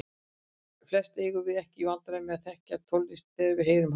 Flest eigum við ekki í vandræðum með að þekkja tónlist þegar við heyrum hana.